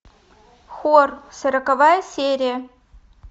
хор сороковая серия